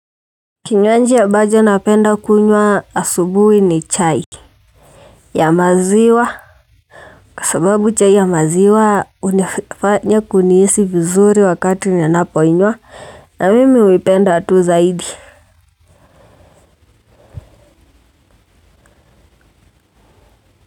Kinywanji ambacho napenda kunywa asubuhi ni chai ya maziwa kwa sababu chai ya maziwa hunifanya kunihisi vizuri wakati ninapoinywa. Na mimi huipenda tu zaidi.